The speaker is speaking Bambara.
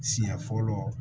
Siɲɛ fɔlɔ